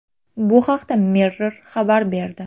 Bu haqda Mirror xabar berdi.